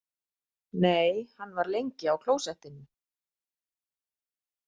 Nei, hann var lengi á klósettinu.